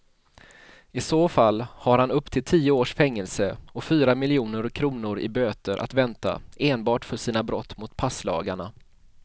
I så fall har han upp till tio års fängelse och fyra miljoner kronor i böter att vänta enbart för sina brott mot passlagarna.